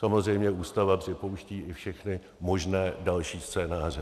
Samozřejmě, Ústava připouští i všechny možné další scénáře.